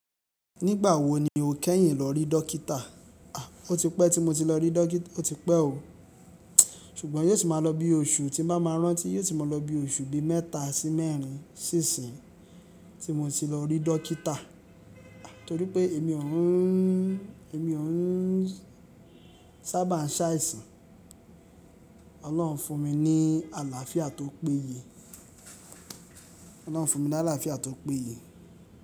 Nígbà wo ni o kẹ́yìn lọ rí dọ́kítà? A! Ó ti pẹ́ tí mo ti lọ rí dọ́kítà, ó ti pẹ́ o. Ṣùgbọ́n yóò ti máa lọ bí oṣù, tí bá máa rántí yóò ti máa lọ bí oṣù bí mẹ́ta sí mẹ́rin sí ìsìn tí mo ti lọ rí dọ́kítà. Torí pé èmi ò ń, èmi ò ń sábà ṣàìsàn. Ọlọ́run fún mi ní àlàáfíà tó péye. Ọlọ́run fún mi ní àlàáfíà tó péye.